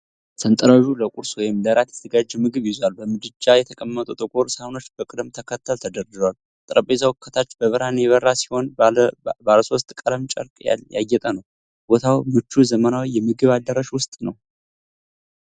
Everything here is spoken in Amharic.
ሰንጠረዡ ለቁርስ ወይም ለእራት የተዘጋጀ ምግብ ይዟል። በምድጃ የተቀመጡ ጥቁር ሳህኖች በቅደም ተከተል ተደርድረዋል። ጠረጴዛው ከታች በብርሃን የበራ ሲሆን ባለሶስት ቀለም ጨርቅ ያጌጠ ነው። ቦታው ምቹ ዘመናዊ የምግብ አዳራሽ ውስጥ ነው።